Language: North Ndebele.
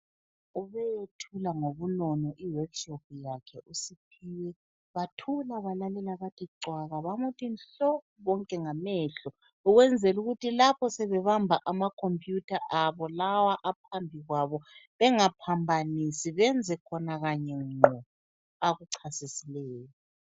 Ubeyethula ngubunono iworkshop yakhe uSiphiwe, bathula balalela bathi cwaka bamuthi nhlo bonke ngamehlo, ukwenzela ukuthi lapho sebebamba ama computer abo lawa aphambikwabo, bengaphambanisi benze khona Kanye ngqo akuchasisileyo.